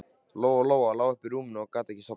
Lóa-Lóa lá uppi í rúmi og gat ekki sofnað.